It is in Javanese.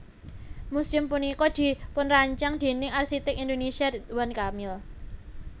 Museum punika dipunrancang déning arsiték Indonésia Ridwan Kamil